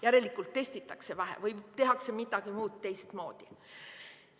Järelikult testitakse vähe või tehakse midagi muud teistmoodi.